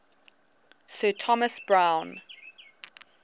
sir thomas browne